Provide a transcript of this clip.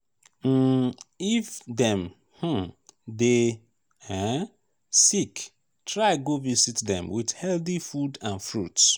um if dem um de um sick try go visit dem with healthy food and fruits